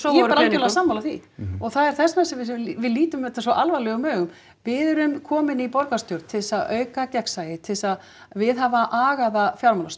ég er bara algjörlega sammála því og það er þess vegna sem að við lítum þetta svo alvarlegum augum við erum komin í borgarstjórn til þess að auka gegnsæi til þess að viðhafa agaða